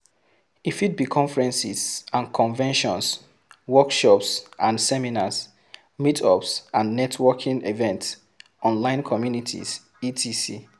E fit be conferences and conventions, workshops and seminars, meetups and networking events, online communities etc.